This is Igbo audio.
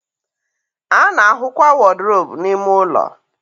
a na-ahụkwa wọdrobụ n'ime ụlọ.